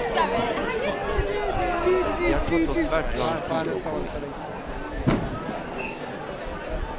Det har tatt oss svært lang tid å komme hit.